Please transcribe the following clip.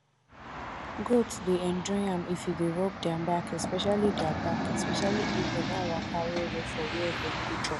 goat dey enjoy am if you dey rub their back especially their back especially if dem don waka well well for where dem go chop